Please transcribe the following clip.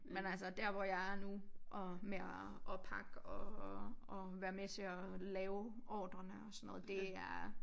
Men altså der hvor jeg er nu og med at pakke og og og være med til at lave ordrene og sådan noget det er